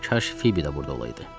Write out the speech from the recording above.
Kaş Fibi də burda olaydı.